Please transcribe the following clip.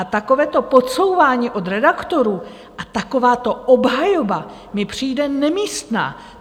A takovéto podsouvání od redaktorů a takováto obhajoba mi přijde nemístná.